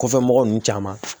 Kɔfɛ mɔgɔ ninnu caman